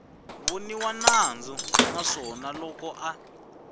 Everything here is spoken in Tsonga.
voniwa nandzu naswona loko a